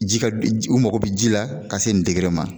Ji ka u mako bɛ ji la ka se nin degere ma.